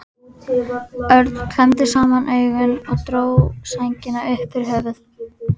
Örn klemmdi saman augun og dró sængina upp yfir höfuð.